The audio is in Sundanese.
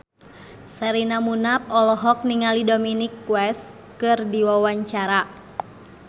Sherina Munaf olohok ningali Dominic West keur diwawancara